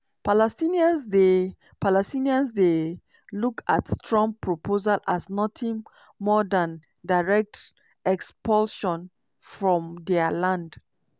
palestinians dey palestinians dey look at trump proposal as notin more dan direct expulsion from dia land.